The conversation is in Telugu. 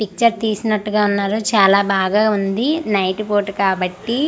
పిక్చర్ తీసినట్టుగా ఉన్నారు చాలా బాగా ఉంది నైట్ పూట కాబట్టి--